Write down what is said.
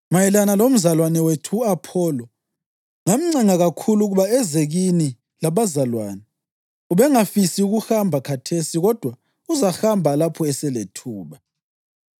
Mayelana lomzalwane wethu u-Apholo: Ngamncenga kakhulu ukuba eze kini labazalwane. Ubengafisi ukuhamba khathesi kodwa uzahamba lapho eselethuba.